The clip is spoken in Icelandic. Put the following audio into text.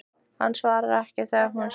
Hann svarar ekki þegar hún spyr.